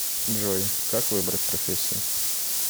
джой как выбрать профессию